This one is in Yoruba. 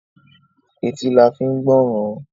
Etí la fi ń gbọ́ràn.